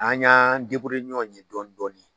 An y'an ɲɔgɔn ye dɔɔni dɔɔni.